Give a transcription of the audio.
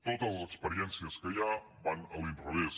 totes les experiències que hi ha van a l’inrevés